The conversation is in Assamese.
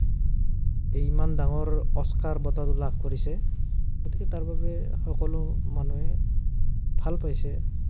ইমান ডাঙৰ অস্কাৰ বঁটাটো লাভ কৰিছে। গতিকে তাৰবাবে সকলো মানুহে, ভাল পাইছে